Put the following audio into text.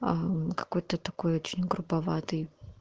аа какой-то такой очень груповатый